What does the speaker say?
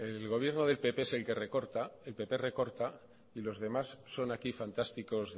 el gobierno del pp es el que recorta el pp recorta y los demás son aquí fantásticos